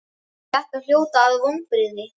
Þetta hljóta að vonbrigði?